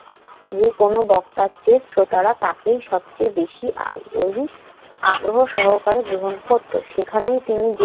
যেকোনো বক্তার চেয়ে শ্রোতারা তাকেই সবচেয়ে বেশি আগ্রহী~ আগ্রহসহকারে গ্রহণ করত। সেখানেই তিনি